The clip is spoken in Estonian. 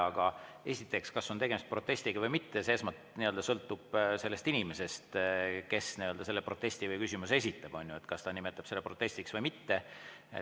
Aga esiteks, kas on tegemist protestiga või mitte, see sõltub sellest inimesest, kes selle protesti või küsimuse esitab, kas ta nimetab selle protestiks või mitte.